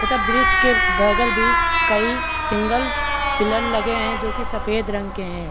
तथा ब्रिज के बगल भी कई सिंगल पिलर लगे हैं जो की सफ़ेद रंग के हैं।